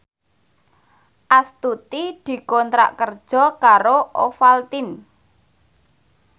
Astuti dikontrak kerja karo Ovaltine